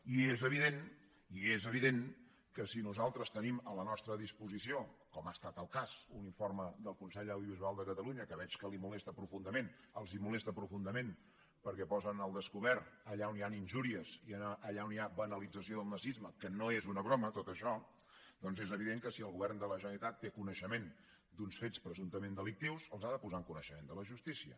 i és evident i és evident que si nosaltres tenim a la nostra disposició com ha estat el cas un informe del consell de l’audiovisual de cata·lunya que veig que li molesta profundament els mo·lesta profundament perquè posen al descobert allà on hi han injúries i allà on hi ha banalització del nazisme que no és una broma tot això doncs és evident que si el govern de la generalitat té coneixement d’uns fets presumptament delictius els ha de posar en coneixe·ment de la justícia